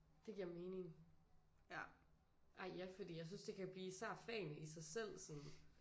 Det giver mening. Ej ja fordi jeg synes det kan blive især fagene i sig selv sådan